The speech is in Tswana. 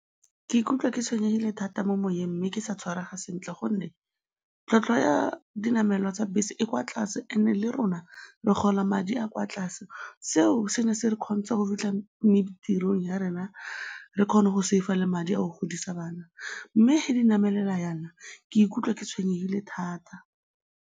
Ke ikutlwa ke tshwenyegile thata mo moyeng mme ke sa tshwarega sentle gonne tlhwatlhwa ya dinamelwa tsa bese e kwa tlase and-e le rona re gola madi a kwa tlase. Seo se ne se re kgontsha go fitlha ya rena re kgone go save-a le madi a go godisa bana mme fa di namelela jaana, ke ikutlwa ke tshwenyegile thata.